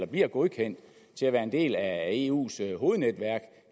bliver godkendt til at være en del af eus hovednetværk